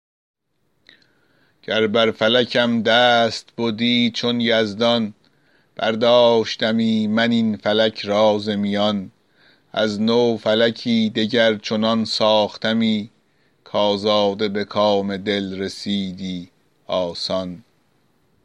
گر بر فلکم دست بدی چون یزدان برداشتمی من این فلک را ز میان از نو فلکی دگر چنان ساختمی کآزاده به کام دل رسیدی آسان